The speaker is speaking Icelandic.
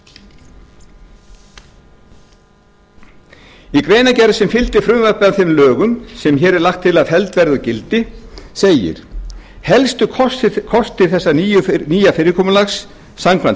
í greinargerð sem fylgdi frumvarpi að þeim álögur sem hér er lagt til að felld verði úr gildi segir helstu kostir þessa nýja fyrirkomulags samkvæmt